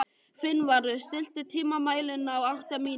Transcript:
Finnvarður, stilltu tímamælinn á áttatíu mínútur.